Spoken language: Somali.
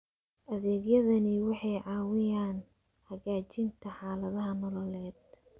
Adeegyadani waxay caawiyaan hagaajinta xaaladaha nololeed.